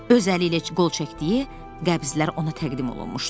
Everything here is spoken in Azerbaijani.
Öz əli ilə qol çəkdiyi qəbzlər ona təqdim olunmuşdu.